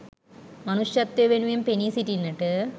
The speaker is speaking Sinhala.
මනුෂ්‍යත්වය වෙනුවෙන් පෙනී සිටින්නට